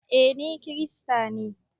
Eh, Ni kiristanne.